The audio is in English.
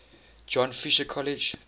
john fisher college